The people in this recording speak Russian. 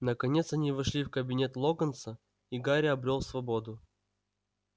наконец они вошли в кабинет локонса и гарри обрёл свободу